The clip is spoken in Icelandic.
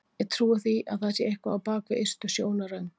Ég trúi því að það sé eitthvað á bak við ystu sjónarrönd.